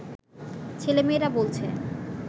ছেলেমেয়েরা বলছে